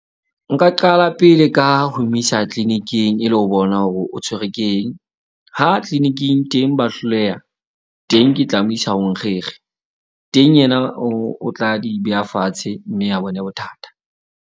Nka qala pele ka ho mo isa clinic-ing e le ho bona hore o tshwerwe ke eng. Ha clinic-ing teng ba hloleha teng, ke tla mo isa ho nkgekge. Teng yena o tla di beha fatshe mme a bone bothata.